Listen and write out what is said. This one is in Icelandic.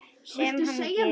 Sem hann gerir.